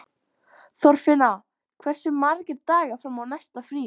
Þorfinna, hversu margir dagar fram að næsta fríi?